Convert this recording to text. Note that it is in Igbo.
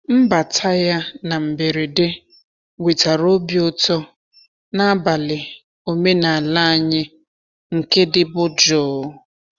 Mbata ya na mberede wetara obi ụtọ n’abalị omenala anyị nke dịbu jụụ.